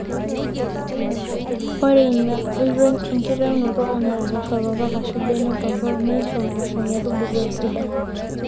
ore ina oitoi enkitaunoto oonena poosho torrok ashu benek torrok neisho mpoosho metubulu esidai